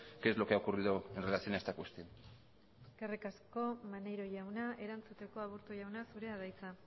qué es lo que ha ocurrido en relación a esta cuestión eskerrik asko maneiro jauna erantzuteko aburto jauna zurea da hitza